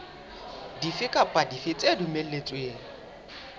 dife kapa dife tse dumelletsweng